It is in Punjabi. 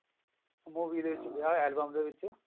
movie ਦੇ ਵਿੱਚ ਆ album ਦੇ ਵਿੱਚ